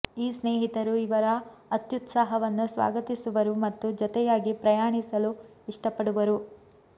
ಈ ಸ್ನೇಹಿತರು ಇವರ ಅತ್ಯುತ್ಸಾಹವನ್ನು ಸ್ವಾಗತಿಸುವರು ಮತ್ತು ಜೊತೆಯಾಗಿ ಪ್ರಯಾಣಿಸಲು ಇಷ್ಟಪಡುವರು